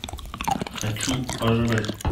хочу пожрать